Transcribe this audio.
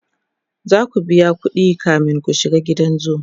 zaku biya ƙuɗi kamin ku shiga gidan zoo